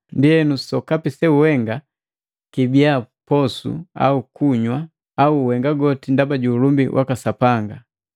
Ndienu sokapi seuhenga kibiya posu au kunywa, uhenga goti ndaba ju ulumbi waka Sapanga.